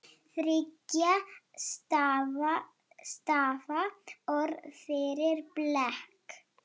Þriggja stafa orð fyrir blek?